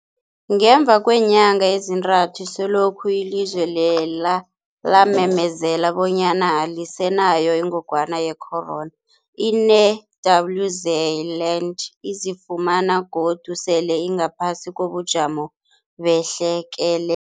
Ngemva kweenyanga ezintathu selokhu ilizwe lela lamemezela bonyana alisenayo ingogwana ye-corona, i-New-Zealand izifumana godu sele ingaphasi kobujamo behlekelele.